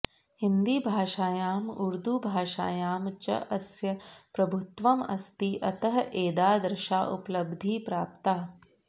हिन्दीभाषायां उर्दू भाषायां च अस्य प्रभुत्वम् आस्ति अतः एदादृशा उपलब्धिः प्राप्ता